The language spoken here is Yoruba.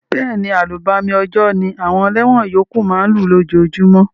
Béèni, àlùbami òjò ni àwon eléwon yókù ma n lú lójojúmó